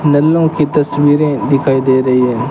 नल्लो की तस्वीरे दिखाई दे रही है।